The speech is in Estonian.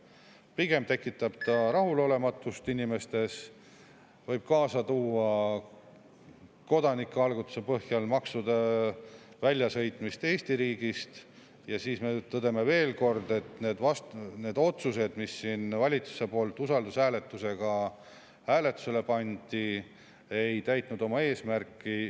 Pigem tekitab see inimestes rahulolematust, võib kaasa tuua kodanikualgatuse põhjal maksude väljasõitmist Eesti riigist ja siis me tõdeme veel kord, et need otsused, mis valitsus on siin usaldushääletusele pannud, ei ole täitnud oma eesmärki.